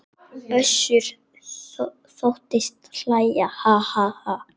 Össur þóttist hlæja:- Ha ha.